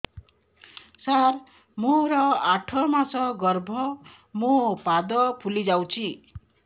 ସାର ମୋର ଆଠ ମାସ ଗର୍ଭ ମୋ ପାଦ ଫୁଲିଯାଉଛି